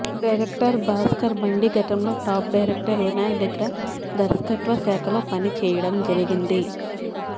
director Bhaskar Bandi గతంలో top director Vinayak దగ్గర దర్శకత్వ శాఖలో పని చెయ్యడం జరిగింది